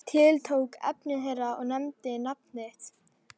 Tiltók efni þeirra og nefndi nafn þitt.